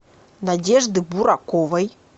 надежды бураковой